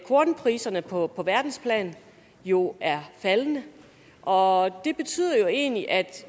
kornpriserne på på verdensplan jo er faldende og det betyder jo egentlig at